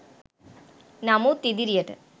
නමුත් ඉදිරියට